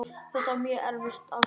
Þetta var mjög erfitt ástand.